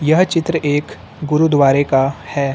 यह चित्र एक गुरुद्वारे का है।